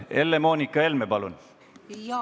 Helle-Moonika Helme, palun!